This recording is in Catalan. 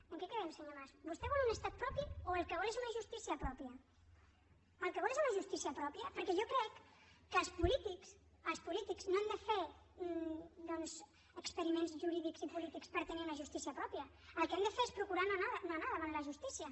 en què quedem senyor mas vostè vol un estat propi o el que vol és una justícia pròpia el que vol és una justícia pròpia perquè jo crec que els polítics els polítics no han de fer doncs experiments jurídics i polítics per tenir una justícia pròpia el que hem de fer es procurar no anar davant la justícia